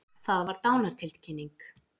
Það var dánartilkynning.